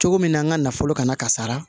Cogo min na an ka nafolo kana kasara